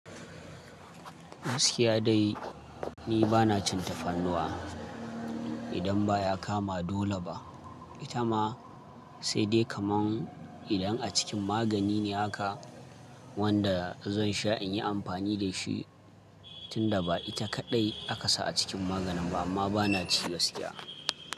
Gaskiya dai ni bana cin tafarnuwa. Idan baya kama dole ba. Ita ma sai dai kaman. Idan a cikin magani ne haka wanda zan sha in yi amfani da shi tunda ba ita kaɗai aka sa a cikin maganin ba amma bana ci gaskiya.